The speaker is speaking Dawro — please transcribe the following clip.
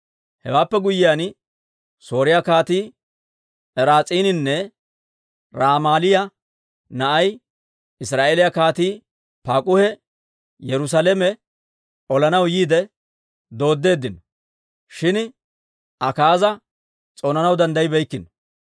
Hewaappe guyyiyaan, Sooriyaa Kaatii Raas'iininne Ramaaliyaa na'ay, Israa'eeliyaa Kaatii Paak'uhi Yerusaalame olanaw yiide dooddeeddino; shin Akaaza s'oonanaw danddayibeykkino.